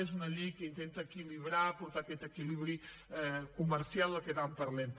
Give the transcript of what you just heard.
és una llei que intenta equilibrar portar aquest equilibri comercial de què tant parlem